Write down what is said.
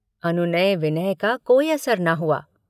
अनुनय विनय का कोई असर न हुआ।